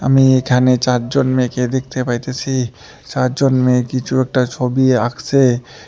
আমি এখানে চারজন মেয়েকে দেখতে পাইতেসি চারজন মেয়ে কিছু একটা ছবি আঁকছে।